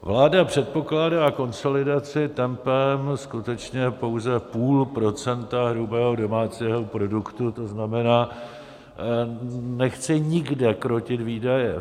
Vláda předpokládá konsolidaci tempem skutečně pouze půl procenta hrubého domácího produktu, to znamená, nechce nikde krotit výdaje.